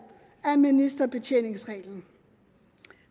af ministerbetjeningsreglen